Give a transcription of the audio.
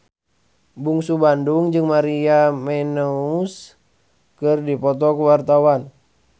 Bungsu Bandung jeung Maria Menounos keur dipoto ku wartawan